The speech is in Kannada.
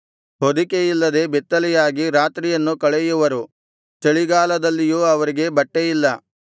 ಹೊದಿಕೆ ಇಲ್ಲದೆ ಬೆತ್ತಲೆಯಾಗಿ ರಾತ್ರಿಯನ್ನು ಕಳೆಯುವರು ಚಳಿಗಾಲದಲ್ಲಿಯೂ ಅವರಿಗೆ ಬಟ್ಟೆಯಿಲ್ಲ